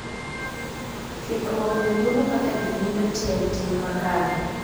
Kikruok ni mulo kaka ji winjo tiend tim makare .